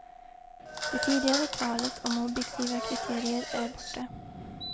Det tidigare talet om objektiva kriterier är borta.